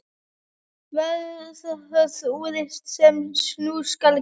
Varð það úr, sem nú skal greina.